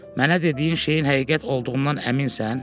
Mənə dediyin şeyin həqiqət olduğundan əminsən?